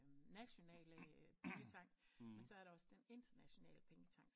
Nationalt pengetank men så er der også den internationale pengetank